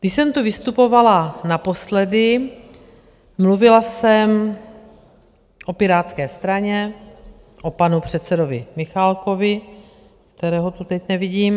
Když jsem tu vystupovala naposledy, mluvila jsem o Pirátské straně, o panu předsedovi Michálkovi - kterého tu teď nevidím.